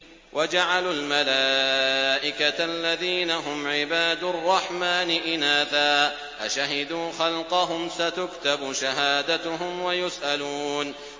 وَجَعَلُوا الْمَلَائِكَةَ الَّذِينَ هُمْ عِبَادُ الرَّحْمَٰنِ إِنَاثًا ۚ أَشَهِدُوا خَلْقَهُمْ ۚ سَتُكْتَبُ شَهَادَتُهُمْ وَيُسْأَلُونَ